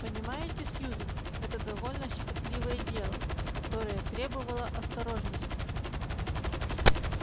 понимаете сьюзен это довольно щекотливое дело которое требовало осторожности